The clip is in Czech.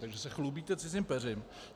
Takže se chlubíte cizím peřím.